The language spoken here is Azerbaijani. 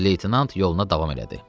Ober-leytenant yoluna davam elədi.